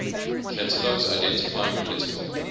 catalogs identifying political